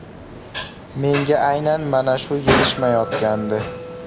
Menga aynan mana shu yetishmayotgandi.